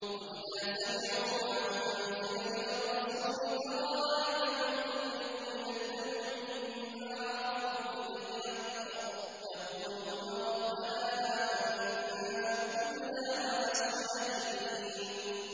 وَإِذَا سَمِعُوا مَا أُنزِلَ إِلَى الرَّسُولِ تَرَىٰ أَعْيُنَهُمْ تَفِيضُ مِنَ الدَّمْعِ مِمَّا عَرَفُوا مِنَ الْحَقِّ ۖ يَقُولُونَ رَبَّنَا آمَنَّا فَاكْتُبْنَا مَعَ الشَّاهِدِينَ